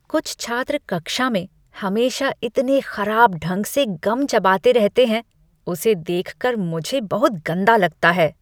कुछ छात्र कक्षा में हमेशा इतने खराब ढंग से गम चबाते रहते हैं, उसे देख कर मुझे बहुत गंदा लगता है।